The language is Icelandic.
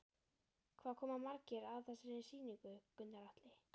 Hvað koma margir að þessari sýningu, Gunnar Atli?